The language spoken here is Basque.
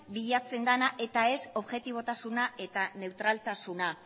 bilatzen dena eta ez objetibotasun eta neutraltasuna